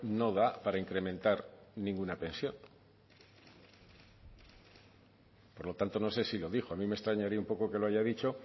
no da para incrementar ninguna pensión por lo tanto no sé si lo dijo a mí me extrañaría un poco que lo haya dicho